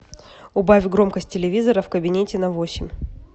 убавь громкость телевизора в кабинете на восемь